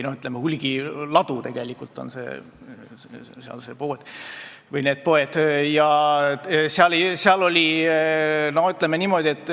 Need poed on tegelikult hulgilaod.